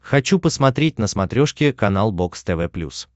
хочу посмотреть на смотрешке канал бокс тв плюс